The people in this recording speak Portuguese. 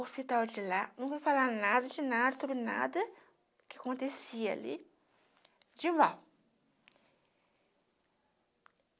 hospital de lá, não vou falar nada de nada sobre nada que acontecia ali, de mal.